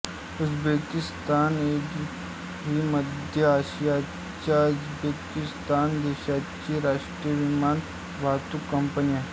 Uzbekistan airways ही मध्य आशियाच्या उझबेकिस्तान देशाची राष्ट्रीय विमान वाहतूक कंपनी आहे